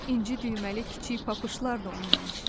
İnci düyməli kiçik papışlar da onun əl işi idi.